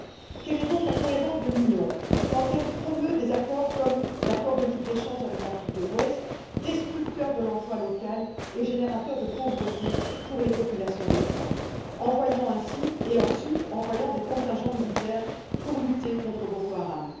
Quelle est donc la cohérence de l'Union quand elle promeut des accords comme l'accord de libre échange avec l'Afrique de l'Ouest, destructeur de l'emploi local et générateur de pauvreté pour les populations locales, envoyant ensuite des contingents militaires pour lutter contre Boko Haram?